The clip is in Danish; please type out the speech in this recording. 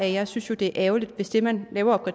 jeg synes det er ærgerligt hvis det man laver